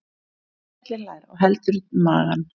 Bjössi skellihlær og heldur um magann.